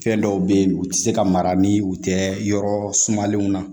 Fɛn dɔw bɛ yen u tɛ se ka mara ni u tɛ yɔrɔ sumalenw na